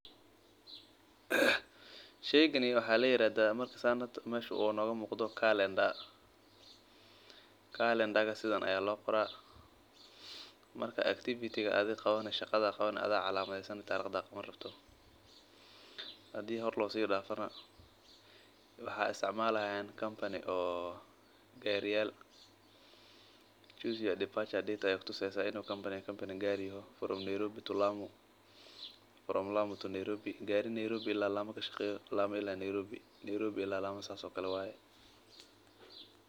Sheygani waxaa ladahaa tariqda sidan ayaa loo qoraa shaqada adhiga aad qabani adhiga ayaa isticmaali waa kampani gaari kashaqeeyo lama ilaa nairobi waqtiga uu baxaayo.